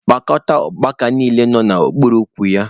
Kpokọta ukpaka niile nọ n'okpuru ukwu ya!